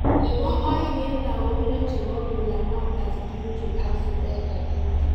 Nebo aeng en lakok loh chebo Gulamabbas Dewji ak Zubeda Dewji